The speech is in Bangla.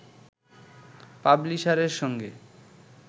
পাবলিশারের সঙ্গে